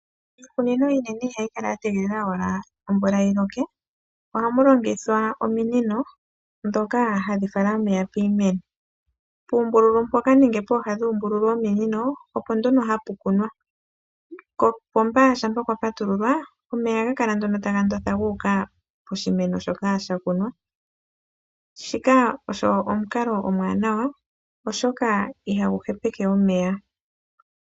Iikunino iinene ihayi kala ashike ya tegelela omvula yi loke, ohamu longithwa ominino ndhoka hadhi fala omeya kiimeno. Pooha dhoombululu yominino opo hapu kunwa, kopomba shaa kwa patululwa omeya ohaga kala nduno taga notha guuka poshimeno shoka sha kunwa. Nguka ogwo omukalo omuwanawa, oshoka ihagu hepeke omeya.